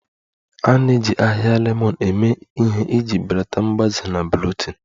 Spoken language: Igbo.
A na-eji ahịhịa lemon eme ihe iji belata mgbaze na bloating